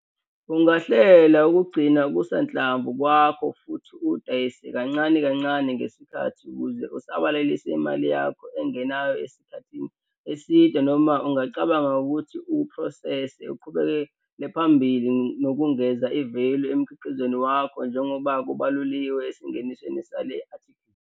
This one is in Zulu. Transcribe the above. Ungahlela ukugcina okusanhlamvu kwakho futhi uwudayise kancane kancane ngesikhathi ukuze usabalalise imali yakho engenayo esikhathini eside noma ungacabanga ngokuthi uwuphrosese uqhubekele phambili nokungeza i-value emkhiqizweni wakho njengoba kubaluliwe esingenisweni sale athikhili.